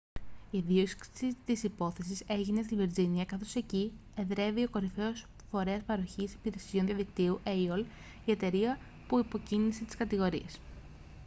η δίωξη της υπόθεσης έγινε στη βιρτζίνια καθώς εκεί εδρεύει o κορυφαίος φορέας παροχής υπηρεσιών διαδικτύου aol η εταιρεία που υποκίνησε τις κατηγορίες